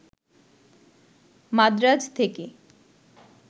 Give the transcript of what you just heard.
মাদ্রাজ থেকে